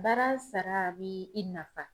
Baara sara a b'i i nafa.